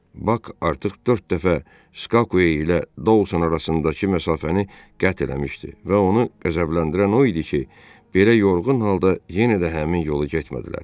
Bak artıq dörd dəfə Skakuein ilə Daun arasındakı məsafəni qət eləmişdi və onu qəzəbləndirən o idi ki, belə yorğun halda yenə də həmin yolu getmədilər.